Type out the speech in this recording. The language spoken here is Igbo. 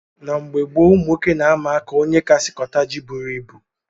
Na mgbe gboo ụmụnwoke na - ama aka ónyé kasị kota jị bụrụ ịbụ